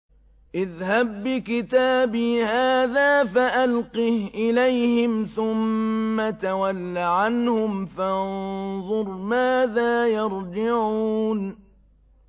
اذْهَب بِّكِتَابِي هَٰذَا فَأَلْقِهْ إِلَيْهِمْ ثُمَّ تَوَلَّ عَنْهُمْ فَانظُرْ مَاذَا يَرْجِعُونَ